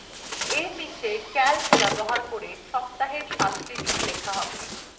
এর নীচে calc ব্যবহার করে সপ্তাহের সাতটি দিন লেখা হবে